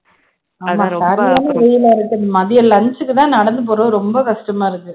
ஆமா சரியான வெயிலு இருக்குது மதியம் lunch க்கு தான் நடந்து போறது ரொம்ப கஷ்டமா இருக்கு